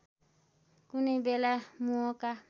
कुनै बेला मोहका